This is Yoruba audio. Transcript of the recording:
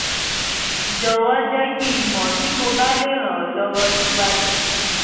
jọ̀wọ́ jẹ́ kí n mọ̀ bí mo bá lè ràn ọ́ lọ́wọ́ síwájú sí i